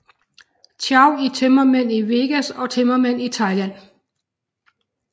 Chow i Tømmermænd i Vegas og Tømmermænd i Thailand